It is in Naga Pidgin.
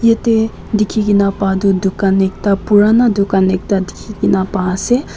jatte dekhi kina pa tu dukan ekta purana dukan ekta dekhi na pa ase.